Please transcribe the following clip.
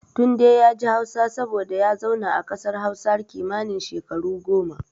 Tunde yaji Hausa saboda ya zauna a kasar Hausa kimanin shekaru goma.